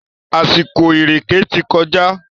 Àsìkò ìrèkè ti kọjá.